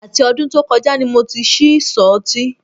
Àti ọdún tó kọjá ni mo ti ṣí ìsọ̀ ọtí